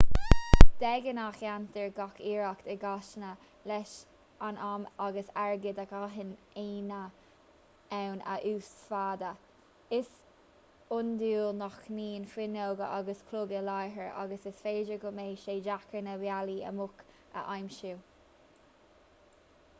de ghnáth déantar gach iarracht i gcasaíne leis an am agus airgead a gcaitheann aíonna ann a uasmhéadú is iondúil nach mbíonn fuinneoga agus cloig i láthair agus is féidir go mbeidh sé deacair na bealaí amach a aimsiú